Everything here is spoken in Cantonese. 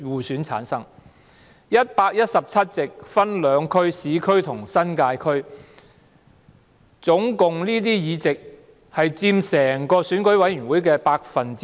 上述117席分為港九和新界兩區，議席共佔整個選委會的 10%。